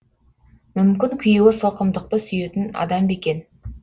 мүмкін күйеуі сылқымдықты сүйетін адам ба екен